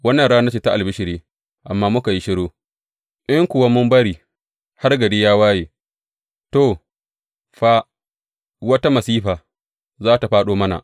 Wannan rana ce ta albishiri amma muka yi shiru; in kuwa mun bari har gari ya waye, to, fa, wata masifa za tă fāɗo mana.